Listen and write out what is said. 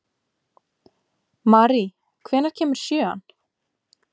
Mary, hvenær kemur sjöan?